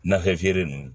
Nafee nunnu